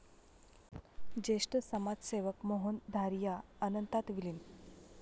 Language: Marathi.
ज्येष्ठ समाजसेवक मोहन धारिया अनंतात विलिन